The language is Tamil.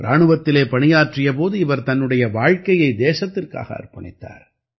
இராணுவத்திலே பணியாற்றிய போது இவர் தன்னுடைய வாழ்க்கையை தேசத்திற்காக அர்ப்பணித்தார்